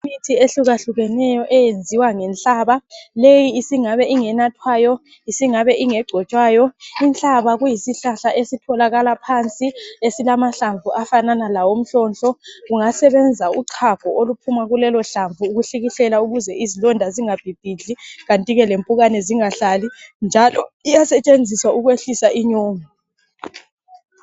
Imithi ehlukahlukeneyo eyenziwa ngenhlaba, leyi isingabe ingenathwayo, isingabe ngegcotshwayo. Inhlaba kuyisihlahla esitholakala phansi, esilamahlamvu afanana lawomhlonhlo . Kungasebenza uchago oluphuma kulelohlamvu ukuhlikihlela ukuze izilonda zingabhibhidli kanti ke lempukane zingahlali, njalo iyasetshenziswa ukwehlisa inyongo